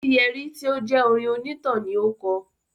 "Etíyẹrí" tí ó jẹ́ orin onítàn ni ó kọ̀.